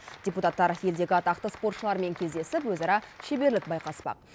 депутаттар елдегі атақты спортшылармен кездесіп өзара шеберлік байқаспақ